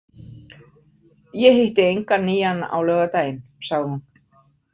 Ég hitti engan nýjan á laugardaginn, sagði hún.